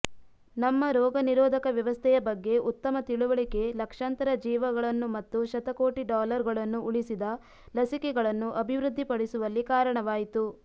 ನಮ್ಮ ರೋಗನಿರೋಧಕ ವ್ಯವಸ್ಥೆಯ ಬಗ್ಗೆ ಉತ್ತಮ ತಿಳುವಳಿಕೆ ಲಕ್ಷಾಂತರ ಜೀವಗಳನ್ನು ಮತ್ತು ಶತಕೋಟಿ ಡಾಲರ್ಗಳನ್ನು ಉಳಿಸಿದ ಲಸಿಕೆಗಳನ್ನು ಅಭಿವೃದ್ಧಿಪಡಿಸುವಲ್ಲಿ ಕಾರಣವಾಯಿತು